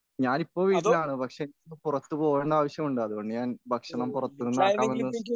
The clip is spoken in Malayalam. ഞാനിപ്പോ വീട്ടിലാണ് പക്ഷേ പുറത്തു പോകേണ്ട ആവശ്യമുണ്ട് അതുകൊണ്ട് ഞാൻ ഭക്ഷണം പുറത്തുനിന്നാക്കാമെന്ന്